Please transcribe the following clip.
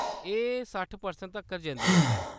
एह्‌‌ सट्ठ परसैंट तक्कर जंदी ऐ, सर।